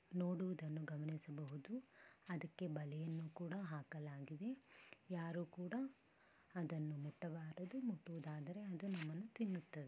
ನೋಡುವುದನ್ನು ಗಮನಿಸಬಹುದು ಅದಕ್ಕೆ ಬಲೆಯನ್ನು ಕೂಡ ಹಾಕಲಾಗಿದೆ ಯಾರು ಕೂಡ ಅದನ್ನು ಮುಟ್ಟಬಾರದು ಮುಟ್ಟುವುದಾದರೆ ಅದು ನಮ್ಮನ್ನು ತಿನ್ನುತ್ತದೆ .